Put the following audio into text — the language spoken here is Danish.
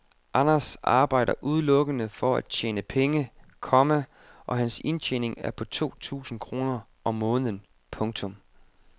Anders arbejder udelukkende for at tjene penge, komma og hans indtjening er på to tusinde kroner om måneden. punktum